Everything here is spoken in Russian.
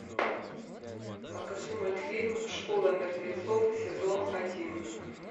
покажи мультфильм школа мертвецов сезон один